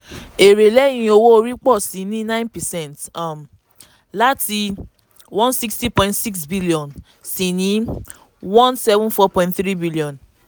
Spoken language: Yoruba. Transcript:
èrè lẹ́yìn owó orí pọ̀ sí i ní nine percent um láti one sixty point six billion sí one seven four point three billion